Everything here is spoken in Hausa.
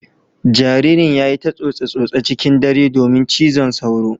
Jaririn ya yi ta tsose-tsose cikin dare domin cizon sauro.